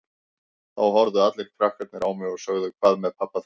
Þá horfðu allir krakkarnir á mig og sögðu Hvað með pabba þinn?